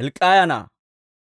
Hilk'k'iyaa na'aa;